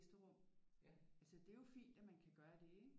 Gæsterum altså det er jo fint at man kan gøre det ikke